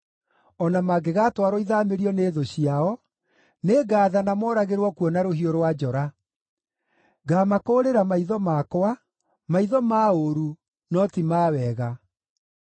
O na mangĩgaatwarwo ithaamĩrio nĩ thũ ciao, nĩngathana mooragĩrwo kuo na rũhiũ rwa njora. Ngamakũũrĩra maitho makwa, maitho ma ũũru, no ti ma wega.”